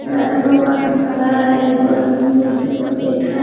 दो गो आदमी खड़ा है एगो आदमी कुर्सी पर बैठा --